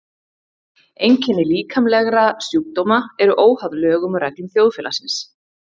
Einkenni líkamlegra sjúkdóma eru óháð lögum og reglum þjóðfélagsins.